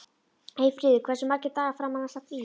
Eyfríður, hversu margir dagar fram að næsta fríi?